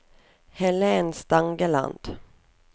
Helen Stangeland